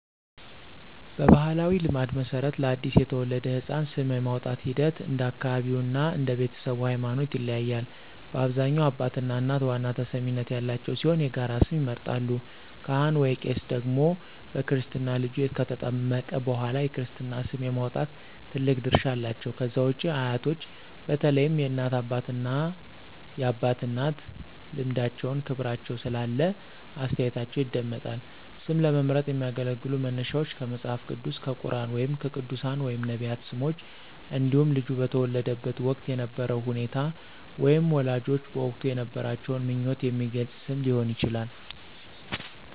በባሕላዊ ልማድ መሠረት፣ ለአዲስ የተወለደ ሕፃን ስም የማውጣቱ ሂደት እንደ አካባቢው እና እንደ ቤተሰቡ ሃይማኖት ይለያያል። በአብዛኛው አባትና እናት ዋና ተሰሚነት ያላቸው ሲሆን የጋራ ስም ይመርጣሉ። ካህን/ቄስ ደግሞ በክርስትና ልጁ ከተጠመቀ በኋላ የክርስትና ስም የማውጣት ትልቅ ድርሻ አላቸው። ከዛ ውጪ አያቶች በተለይም የእናት አባትና የአባት እናት ልምዳቸውና ክብር ስላላቸው አስተያየታቸው ይደመጣል። ስም ለመምረጥ የሚያገለግሉ መነሻዎች ከመጽሐፍ ቅዱስ፣ ከቁርኣን ወይም ከቅዱሳን/ነቢያት ስሞች እንዲሁም ልጁ በተወለደበት ወቅት የነበረውን ሁኔታ ወይም ወላጆች በወቅቱ የነበራቸውን ምኞት የሚገልጽ ስም ሊሆን ይችላል።